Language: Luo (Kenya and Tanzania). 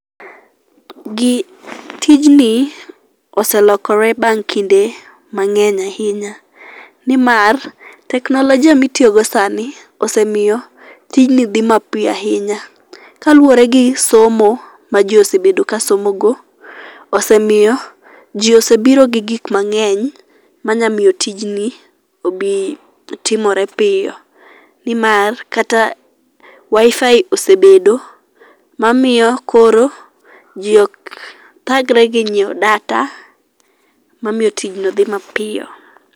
tijni oselokore bang' kinde mang'eny ahinya ni mar teknolojia mitiyo go sani osemiyo tijni dhi mapiyo ahinya kaluwore gi somo ma ji osebedo ka somo go, osemiyo ji osebiro gi gik mang'eny manyalo miyo gi timore piyo, ni mar kata wifi osebedo mamiyo koro ji ok dhagre gi ng'iewo data mamiyi tijno dhi mapiyo.